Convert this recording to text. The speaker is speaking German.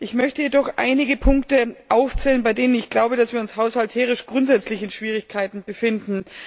Ich möchte jedoch einige Punkte aufzählen, bei denen ich glaube, dass wir uns haushalterisch grundsätzlich in Schwierigkeiten befinden.